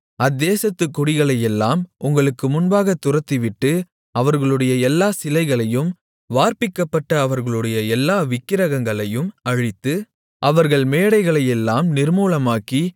அத்தேசத்துக் குடிகளையெல்லாம் உங்களுக்கு முன்பாகத் துரத்திவிட்டு அவர்களுடைய எல்லாச் சிலைகளையும் வார்ப்பிக்கப்பட்ட அவர்களுடைய எல்லா விக்கிரகங்களையும் அழித்து அவர்கள் மேடைகளையெல்லாம் நிர்மூலமாக்கி